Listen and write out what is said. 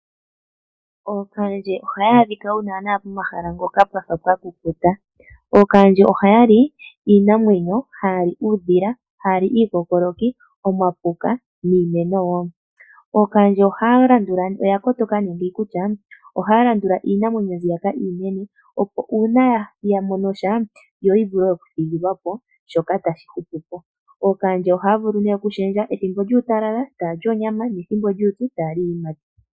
Ookahandje ohaya adhika nana pomahala mpoka pwafa pwakukuta. Ookahandje ohaya li iinamwenyo, haya li uudhila, haya li iikokoloki, omapuka niimeno wo. Ookahandje oya kotoka nduno kutya, ohaya landula iinamwenyo mbyoka iinene, opo uuna yamono sha yo yavule okuthigilwapo shoka tashi hupupo. Ookahandje ohaya vulu nee okushendja, pethimbo lyuutalala ohaya li onyamwa nopethimbo lyuupyu ohaya li iiyimati.